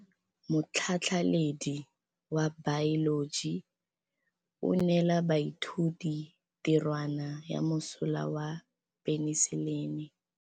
Motlhatlhaledi wa baeloji o neela baithuti tirwana ya mosola wa peniselene.